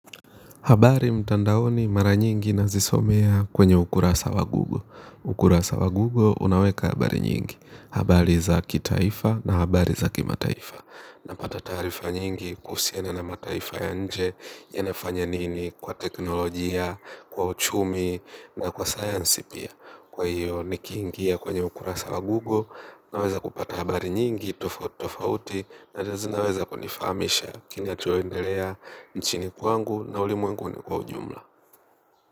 Habari mtandaoni mara nyingi na zisomea kwenye ukurasa wa google. Ukurasa wa google unaweka habari nyingi. Habari za kitaifa na habari za kima taifa napata tarifa nyingi kusiana na mataifa ya nje. Yanafanya nini kwa teknolojia, kwa uchumi na kwa science pia. Kwa hiyo nikiingia kwenye ukura sawa Google. Naweza kupata habari nyingi, tofaut, tofauti na jazinaweza kwa nifamisha kini atuoendelea nchini kwangu na ulimuenguni kwa ujumla.